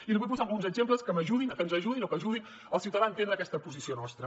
i li vull posar alguns exemples que m’ajudin que ens ajudin o que ajudin el ciutadà a entendre aquesta posició nostra